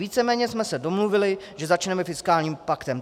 Víceméně jsme se domluvili, že začneme fiskálním paktem.